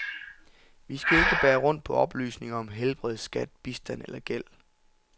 Vi skal ikke bære rundt på oplysninger om helbred, skat, bistand eller gæld.